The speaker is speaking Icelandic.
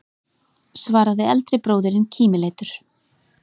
svaraði eldri bróðirinn kímileitur.